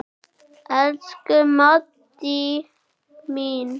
Elsku Maddý mín.